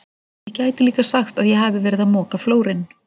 Ég gæti líka sagt að ég hafi verið að moka flórinn.